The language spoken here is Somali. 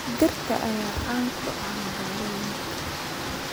Dhirta ayaa caan ku ah magaalooyinka.